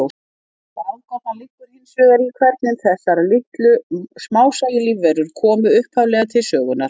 Ráðgátan liggur hins vegar í hvernig þessar litlu, smásæju lífverur komu upphaflega til sögunnar.